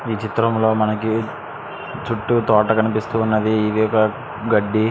ఈ చిత్రం లో మనకి చుట్టూ తోట కనిపిస్తునది అది మనకి గడ్డి.